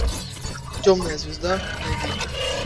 темная звезда найди